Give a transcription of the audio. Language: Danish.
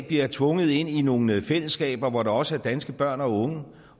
bliver tvunget ind i nogle fællesskaber hvor der også er danske børn og unge